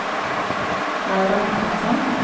Laura Mortensen